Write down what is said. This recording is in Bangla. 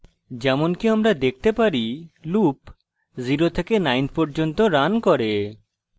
যেমনকি আমরা দেখতে পারি loop 0 থেকে 9 পর্যন্ত রান করে